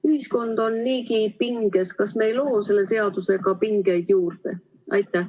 Ühiskond on niigi pinges, kas me ei loo selle seadusega pingeid juurde?